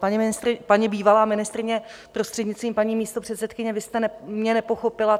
Paní bývalá ministryně, prostřednictvím paní místopředsedkyně, vy jste mě nepochopila.